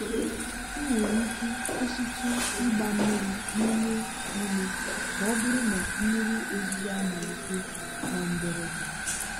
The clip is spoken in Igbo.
ị nwere ike kwụsịtụ ịgba mmiri n'ime ime ma ọ bụrụ na mmiri ozuzo amalite na mberede.